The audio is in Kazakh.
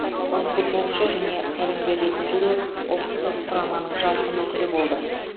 ол футболшы және тәлімгер ретінде де ұлттық құраманың жарқын өкілі болды